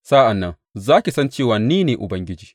Sa’an nan za ki san cewa ni ne Ubangiji.’